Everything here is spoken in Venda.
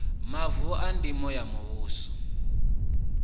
mavu a ndimo a muvhuso